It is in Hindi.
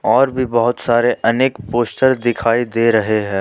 और भी बहुत सारे अनेक पोस्टर दिखाई दे रहे हैं।